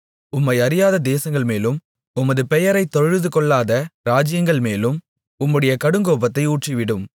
உம்மை அறியாத தேசங்கள் மேலும் உமது பெயரை தொழுதுகொள்ளாத ராஜ்ஜியங்கள் மேலும் உம்முடைய கடுங்கோபத்தை ஊற்றிவிடும்